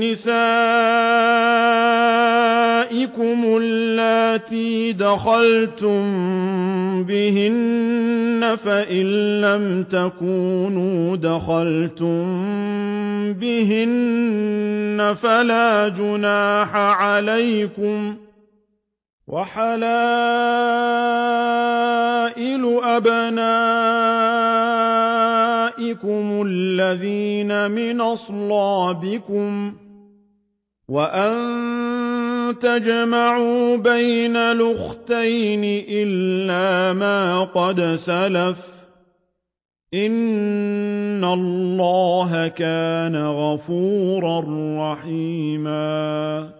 نِّسَائِكُمُ اللَّاتِي دَخَلْتُم بِهِنَّ فَإِن لَّمْ تَكُونُوا دَخَلْتُم بِهِنَّ فَلَا جُنَاحَ عَلَيْكُمْ وَحَلَائِلُ أَبْنَائِكُمُ الَّذِينَ مِنْ أَصْلَابِكُمْ وَأَن تَجْمَعُوا بَيْنَ الْأُخْتَيْنِ إِلَّا مَا قَدْ سَلَفَ ۗ إِنَّ اللَّهَ كَانَ غَفُورًا رَّحِيمًا